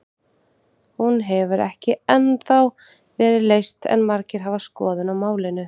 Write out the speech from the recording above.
Hún hefur ekki ennþá verið leyst en margir hafa skoðun á málinu.